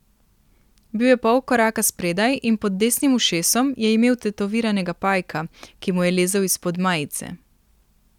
Bil je pol koraka spredaj in pod desnim ušesom je imel tetoviranega pajka, ki mu je lezel izpod majice.